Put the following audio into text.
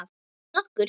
Með okkur?